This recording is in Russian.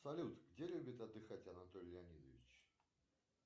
салют где любит отдыхать анатолий леонидович